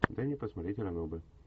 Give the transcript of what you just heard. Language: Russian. дай мне посмотреть ранобэ